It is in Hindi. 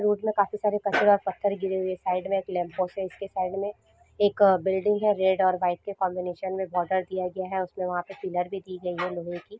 रोड में काफी सारे कचरा और पत्थर गिरे हुये है साइड में एक के साइड में एक बिल्डिंग है रेड और वाइट के कॉम्बिनेशन में बॉर्डर दिया गया है उसमे वहां पर पिलर भी दी गयी है लोहे की।